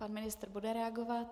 Pan ministr bude reagovat.